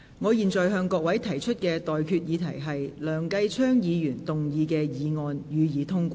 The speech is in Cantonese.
我現在向各位提出的待議議題是：梁繼昌議員動議的議案，予以通過。